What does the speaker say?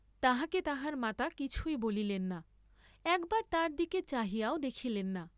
তাহাকে তাহার মাতা কিছুই বলিলেন না, একবার তার দিকে চাহিয়াও দেখিলেন না।